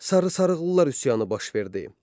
Sarısaqllılar üsyanı baş verdi.